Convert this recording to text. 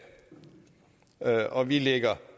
og vi ligger